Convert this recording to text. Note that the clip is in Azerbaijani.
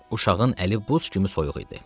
Uşağın əli buz kimi soyuq idi.